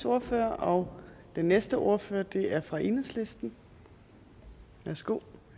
ordfører og den næste ordfører er fra enhedslisten værsgo